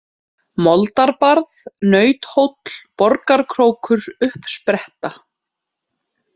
Moldarbarð, Nauthóll, Borgarkrókur, Uppspretta